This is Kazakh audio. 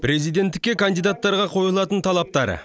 президенттікке кандидаттарға қойылатын талаптар